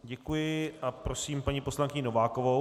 Děkuji a prosím paní poslankyni Novákovou.